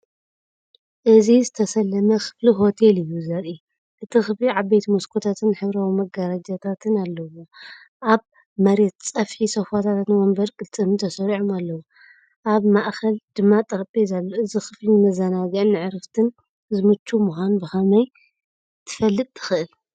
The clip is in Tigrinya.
እዚ ዝተሰለመ ክፍሊ ሆቴል እዩ ዘርኢ። እቲ ክፍሊ ዓበይቲ መስኮታትን ሕብራዊ መጋረጃታትን ኣለዎ። ኣብ መሬት ጸፍሒ ሶፋታትን መንበር ቅልጽምን ተሰሪዖም ኣለዉ፡ ኣብ ማእከል ድማ ጠረጴዛ ኣሎ። እዚ ክፍሊ ንመዘናግዕን ንዕረፍትን ዝምችእ ምኳኑ ብኸመይ ትፈልጥ ትክእል?